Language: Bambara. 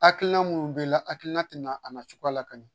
Hakiina minnu bɛ i la , a hakilina tɛna i nafa la don